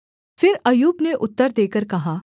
फिर अय्यूब ने उत्तर देकर कहा